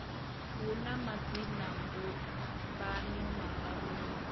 hu na madzinambumbano mararu ri